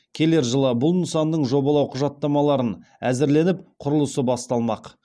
келер жылы бұл нысанның жобалау құжаттамаларын әзірленіп құрылысы басталмақ